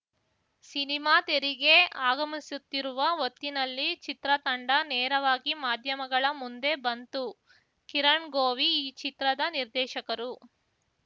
cinema ತೆರೆಗೆ ಆಗಮಿಸುತ್ತಿರುವ ಹೊತ್ತಿನಲ್ಲಿ ಚಿತ್ರತಂಡ ನೇರವಾಗಿ ಮಾಧ್ಯಮಗಳ ಮುಂದೆ ಬಂತು ಕಿರಣ್‌ಗೋವಿ ಈ ಚಿತ್ರದ ನಿರ್ದೇಶಕರು